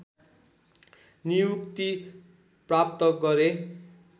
नियुक्ति प्राप्त गरे